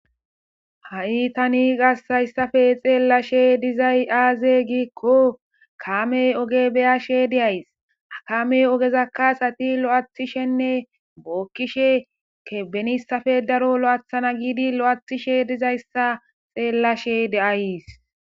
Ha'i tani garssen xellashe dizay ,aze giiko kame oge beyashe dayss,ha kame ogeza asatti lo'ethdhishe bookishe benissrppe daro loo'eththishe dizayssa beyays.